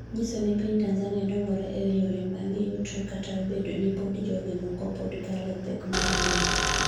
nyiso ni piny Tanzania dongore e yore mag yuto kata obedo ni pod joge moko pod kale pek mar ngima